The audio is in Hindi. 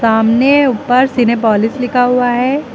सामने ऊपर सिनेपोलिस लिखा हुआ है।